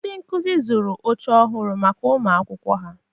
Ndị nkụzi zụrụ oche ọhụrụ maka ụmụ akwụkwọ ha.